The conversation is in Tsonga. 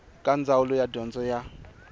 eka ndzawulo ya dyondzo ya